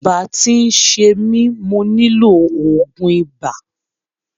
Ibà ti ń ṣe mi, mo nílò ògùn ibà.